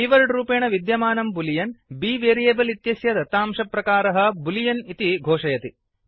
keyword रूपेण विद्यमानं Boolean B variable इत्यस्य दत्तांशप्रकारः बूलियन् इति घोषयति